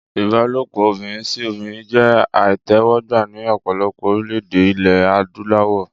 Ìbálòpọ̀ obìnrin sí obìnrin jẹ́ àìtẹ́wọ́gbà ní ọ̀pọ̀lọpọ̀ orílè-èdè ilé adúláwọ̀